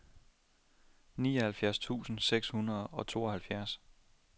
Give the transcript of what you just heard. nioghalvfjerds tusind seks hundrede og tooghalvfjerds